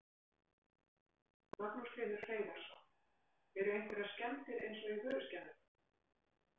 Magnús Hlynur Hreiðarsson: Eru einhverjar skemmdir eins og í vöruskemmunni?